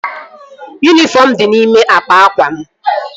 Yunifọm mụ di n'ime akpa akwa m